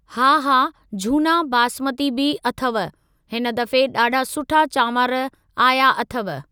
हा हा झूना बासमती बि अथव, हिन दफ़े ॾाढा सुठा चावंर आया अथव।